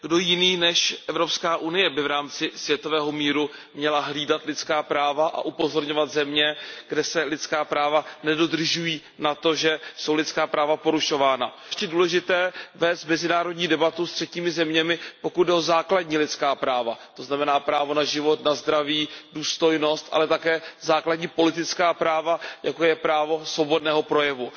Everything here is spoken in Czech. Kdo jiný než Evropská unie by v rámci světového míru měla hlídat lidská práva a upozorňovat země, kde se lidská práva nedodržují, na to, že jsou lidská práva porušována. Považuji za zvláště důležité vést mezinárodní debatu se třetími zeměmi, pokud jde o základní lidská práva, to znamená právo na život, zdraví, důstojnost, ale také o základní politická práva, jako je právo svobodného projevu.